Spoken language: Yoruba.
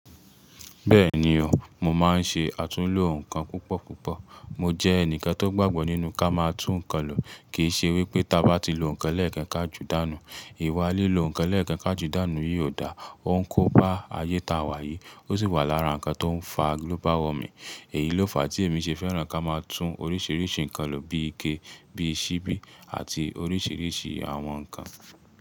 Bẹ́ẹ̀ni o, mo máa ń ṣe àtúnlo nǹkan púpọ̀púpọ̀. Mo jẹ́ ẹnìkan tó gbàgbọ́ nínú ká máa tún nǹkan lò. Kì í ṣe wípé tí a bá ti lo nǹkan lẹ́ẹ̀kan ká ju dànù. Ìwà lílo nǹkan lẹ́ẹ̀kan ká ju dànù yìí ò dá òun kó bá ayé ta wà yìí, ó sì wà lára nǹkan tó ń fa global warming. Èyí ló fà á tí èmi ṣe fẹ́ràn ká máa tún oríṣiríṣi nǹkan lò bí ike, bí i ṣíbí àti oríṣiríṣi àwọn nǹkan.